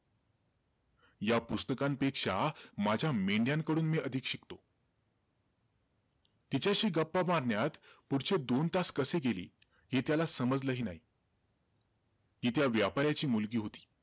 या पुस्तकांपेक्षा माझ्या मेंढ्यांकडून मी अधिक शिकतो. तिच्याशी गप्पा मारण्यात पुढचे दोन तास कसे गेले, हे त्याला समजलही नाही. ती त्या व्यापाराची मुलगी होती.